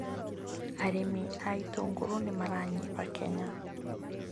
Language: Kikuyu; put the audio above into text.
Arĩmi a itũngũrũ nĩ maranyiha Kenya